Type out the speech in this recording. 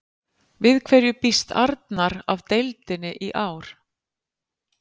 Við hverju býst Arnar af deildinni í ár?